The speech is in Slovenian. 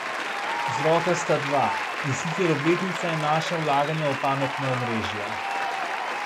Vzroka sta dva, in sicer obletnica in naša vlaganja v pametna omrežja.